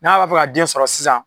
N'a b'a fɛ ka den sɔrɔ sisan